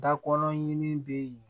Dakɔrɔnin bɛ yen